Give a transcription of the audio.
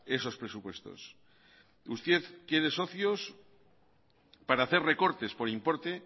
esos presupuestos usted quiere socios para hacer recortes por importe